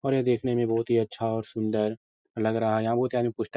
और यह देखने में बहुत ही अच्छा और सुन्दर लग रहा है। यहाँ बहुत ही आदमी पुस्त --